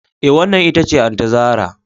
Eh, wannan ita ce Aunty zarah